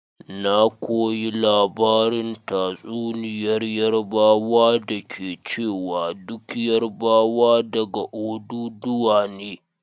Na koyi labarin tatsuniyar Yarbawa da ke cewa duk Yarbawa daga Odùduwa ne.